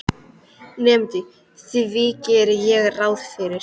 Nemandi: Því geri ég ráð fyrir